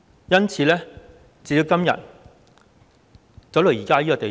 因此，時至今天，發展到這個地步。